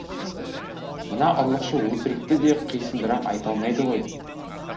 мына ұрлықшы өтірікті де қисындырып айта алмайды ғой